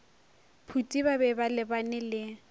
phuti ba be balebane le